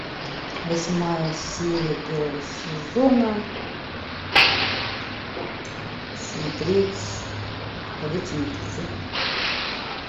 восьмая серия первого сезона смотреть ходячие мертвецы